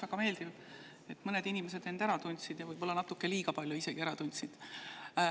Väga meeldiv, et mõned inimesed end ära tundsid, võib-olla isegi natuke liiga palju ära tundsid.